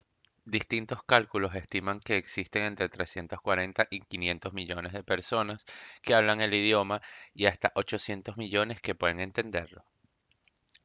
distintos cálculos estiman que existen entre 340 y 500 millones de personas que hablan el idioma y hasta 800 millones que pueden entenderlo